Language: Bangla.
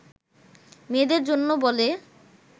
মেয়েদের জন্য বলে